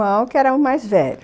Tinha um irmão que era o mais velho.